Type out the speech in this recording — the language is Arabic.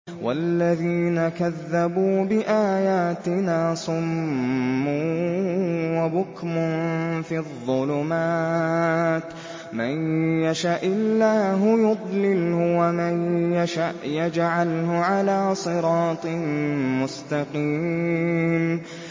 وَالَّذِينَ كَذَّبُوا بِآيَاتِنَا صُمٌّ وَبُكْمٌ فِي الظُّلُمَاتِ ۗ مَن يَشَإِ اللَّهُ يُضْلِلْهُ وَمَن يَشَأْ يَجْعَلْهُ عَلَىٰ صِرَاطٍ مُّسْتَقِيمٍ